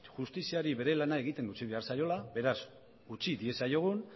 justiziari bere lana egiten utzi behar zaiola beraz utzi diezaiogun